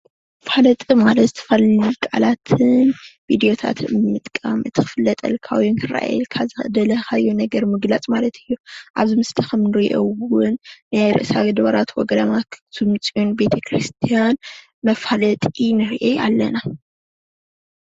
ኣብዚ ምስሊ ከምንርእዮ እዉን ናይ ርእሰ ወ ኣድባራት ወ ገዳማት ኣክሱም ፅዮን ቤተ ክርስትያን መፋለጢ ንርኢ አለና::